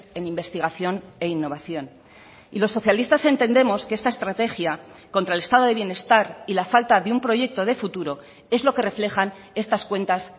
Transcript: en investigación e innovación y los socialistas entendemos que esta estrategia contra el estado de bienestar y la falta de un proyecto de futuro es lo que reflejan estas cuentas